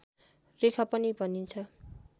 रेखा पनि भनिन्छ